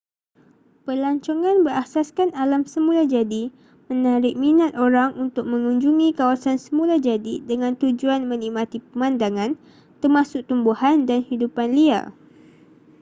pelancongan berasaskan alam semula jadi menarik minat orang untuk mengunjungi kawasan semula jadi dengan tujuan menikmati pemandangan termasuk tumbuhan dan hidupan liar